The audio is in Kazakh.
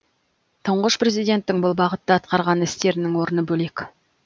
тұңғыш президенттің бұл бағытта атқарған істерінің орны бөлек